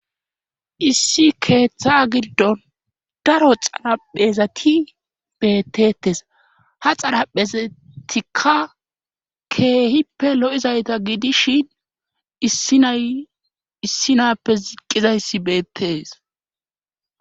Issi keeththa giddon daro xaraphezati beettetes ha xaraphezatikka keehippe lo7izayta gidishin iissinappe ziqqizayssi beettees